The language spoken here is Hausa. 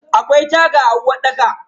Akwai taga a uwarɗaka.